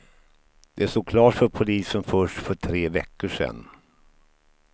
Det stod klart för polisen först för tre veckor sedan.